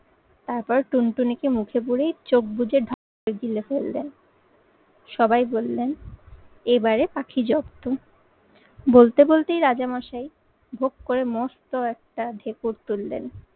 তারপর টুনটুনিকে মুখে পুড়ে চোখ বুজে গিলে ফেললেন। সবাই বললেন এবারে পাখি জব্দ। বলতে বলতেই রাজামশাই ভোগ করে মস্ত একটা ধেকর তুললেন।